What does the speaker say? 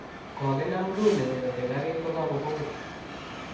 Kokinam Rooney koketeei garit kogakobogit.